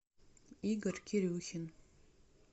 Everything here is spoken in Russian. игорь кирюхин